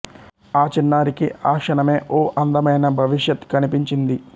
ఆ చిన్నారికి ఆ క్షణమే ఓ అందమైన భవిష్యత్ కనిపించింది